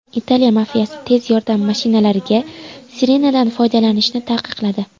Italiya mafiyasi tez yordam mashinalariga sirenadan foydalanishni taqiqladi.